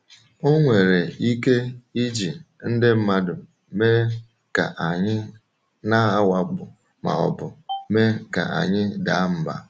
Ọ nwere ike iji ndị mmadụ mee ka a na-awakpo ma ọ bụ mee ka anyị daa mbà.